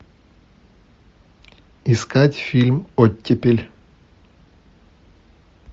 искать фильм оттепель